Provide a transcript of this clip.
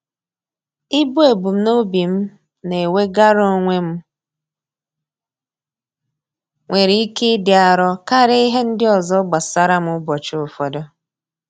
Ibu ebumnobi m na-enwegara onwe m, nwere ike ịdị arọ karịa ihe ndị ọzọ gbasara m ụbọchị ụfọdụ.